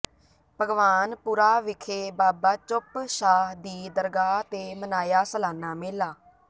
ਭਗਵਾਨ ਪੁਰਾ ਵਿਖੇ ਬਾਬਾ ਚੁੱਪ ਸ਼ਾਹ ਦੀ ਦਰਗਾਹ ਤੇ ਮਨਾਇਆ ਸਲਾਨਾ ਮੇਲਾ